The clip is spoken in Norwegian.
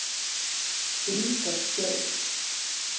Brita Skaug